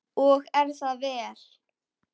Og er það vel.